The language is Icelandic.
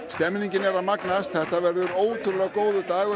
stemningin er að magnast þetta verður ótrúlegur dagur